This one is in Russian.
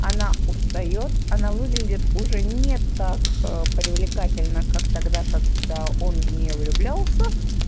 она устаёт она выглядит уже не так привлекательно как тогда когда он в неё влюблялся